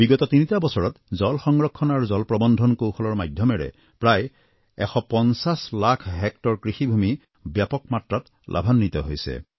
বিগত তিনিটা বছৰত জল সংৰক্ষণ আৰু জল প্ৰৱন্ধনৰ কৌশলৰ মাধ্যমেৰে প্ৰায় ১৫০ লাখ হেক্টৰ কৃষিভূমি ব্যাপক মাত্ৰাত লাভান্বিত হৈছে